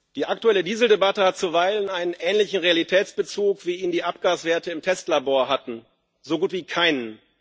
Die aktuelle Dieseldebatte hat zuweilen einen ähnlichen Realitätsbezug, wie ihn die Abgaswerte im Testlabor hatten so gut wie keinen.